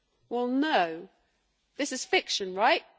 Well, no, this is fiction, right?